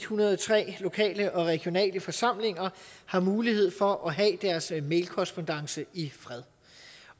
hundrede og tre lokale og regionale forsamlinger har mulighed for at have deres mailkorrespondance i fred